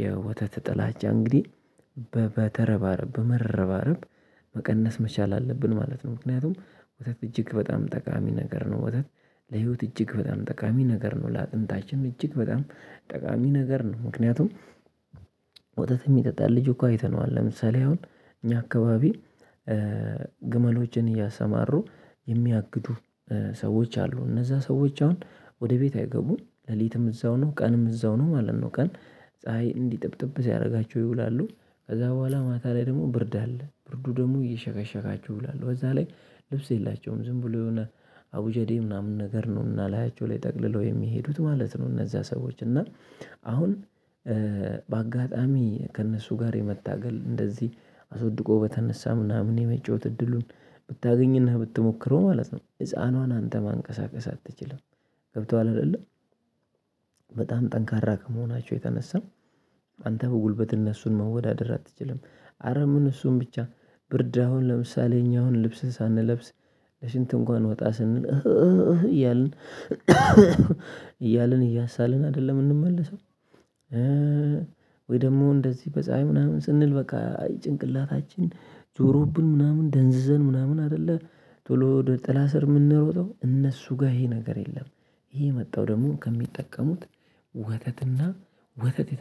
የወተት ጥላቻ እንግዲህ በበተረባረብ በመረባረብ መቀነስ መቻል አለብን ማለት ነው። ምክንያቱም ወተት እጅግ በጣም ጠቃሚ ነገር ነው። ወተት ለህይወት እጅግ በጣም ጠቃሚ ነገር ነው። ለአጥንታችን እጅግ በጣም ጠቃሚ ነገር ነው። ምክንያቱም ወተት የሚጠጣ ልጅ እኮ አይተነዋል። ለምሳሌ አሁን እኛ አካባቢ ግመሎችን እያሰማሩ የሚያግዱ ሰዎች አሉ እነዛ ሰዎች አሁን ወደ ቤት አይገቡም ሌሊትም እዛው ነው ቀንም እዛው ነው ማለት ነው። ቀን ፀሀይ እንዲጥብጥብ ሲያደርጋቸው ይውላሉ። ከዛ በኋላ ማታ ላይ ደግሞ ብርድ አለ ብርዱ ደግሞ እየሸከሸካችሁ ይውላሉ በዛ ላይ ልብስ የላቸውም ዝም ብሎ የሆነ አቡጀዴ ምናምን ነገር ነው። እና ላያቸው ላይ ጠቅልለው የሚሄዱት ማለት ነው። እነዛ ሰዎች እና አሁን በአጋጣሚ ከእነሱ ጋር የመታገል እንደዚህ አስወድቆ በተነሳ ምናምን የመጫወት እድሉን ብታገኝና ብትሞክረው ማለት ነው። ህፃኗን አንተ ማንቀሳቀስ አትችልም። ገብቶሃል አይደለ? በጣም ጠንካራ ከመሆናቸው የተነሳው። አንተ በጉልበት እነሱን መወዳደር አትችልም። አረ ምን እሱን ብቻ። ብርድ አሁን ለምሳሌ እኛ አሁን ልብስህን ሳንለብስ ለሽንት እንኳን ወጣ ስንል አህ እያልን እያልን እያሳልን አይደለም እንመለሰው። ወይ ደግሞ እንደዚህ በፀሀይ ምናምን ስንል በቃ ጭንቅላታችን ዞሮብን ምናምን ደንዝዘን ምናምን አይደለ? ቶሎ ጥላ ስር የምንሮጠው እነሱ ጋር ይሄ ነገር የለም። ይሄ የመጣው ደግሞ ከሚጠቀሙት ወተትና ወተት